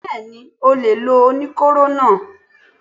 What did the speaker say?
Bẹ́ẹ̀ni, ó lè lo oníkóró náà.